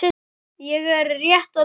Ég er rétt að byrja!